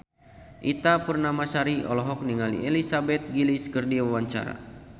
Ita Purnamasari olohok ningali Elizabeth Gillies keur diwawancara